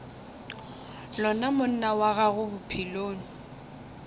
lona monna wa gago bophelong